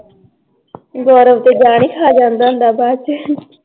ਗੌਰਵ ਤਾਂ ਜਾਨ ਈ ਖਾ ਜਾਂਦਾਂ ਏ ਬਾਦ ਚ l